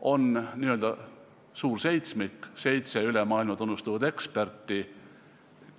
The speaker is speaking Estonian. On n-ö suur seitsmik, seitse üle maailma tunnustatud eksperti,